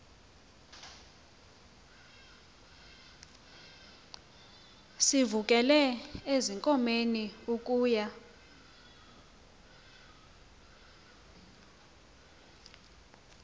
sivukele ezinkomeni ukuya